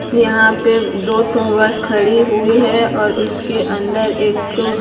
यहां पे दो ठो बस खड़े हुए हैं और उसके अंदर एक तो--